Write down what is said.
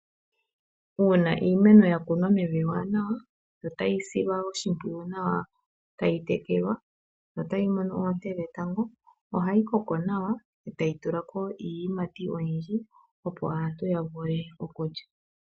Uuna iimeno ya kunwa mevi ewanawa yo tayi silwa oshimpwiyu nawa, tayi tekelwa yo tayi mono oonte dhetango ohayi koko nawa e tayi tula ko iiyimati oyindji, opo aantu ya vule okulya.